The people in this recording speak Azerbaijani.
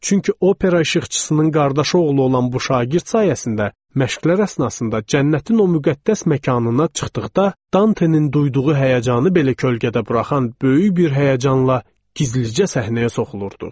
Çünki opera işıqçısının qardaşı oğlu olan bu şagird sayəsində məşqlər əsnasında cənnətin o müqəddəs məkanına çıxdıqda Danteynin duyduğu həyəcanı belə kölgədə buraxan böyük bir həyəcanla gizlicə səhnəyə soxulurduq.